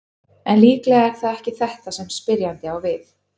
En líklega er það ekki þetta sem spyrjandi á við.